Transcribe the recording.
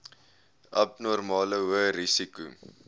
abnormale hoë risiko